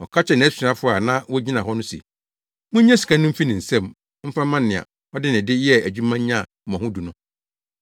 “Ɔka kyerɛɛ nʼasomfo a na wogyina hɔ no se, ‘Munnye sika no mfi ne nsam mfa mma nea ɔde ne de yɛɛ adwuma nyaa mmɔho du no.’